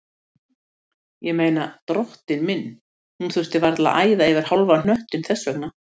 Ég meina, drottinn minn, hún þurfti varla að æða yfir hálfan hnöttinn þess vegna.